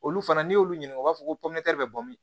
Olu fana n'i y'olu ɲininka u b'a fɔ ko bɛ bɔ ben